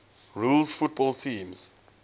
rules football teams